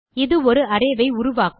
இது ஒரு அரே வை உருவாக்கும்